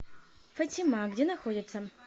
фатима где находится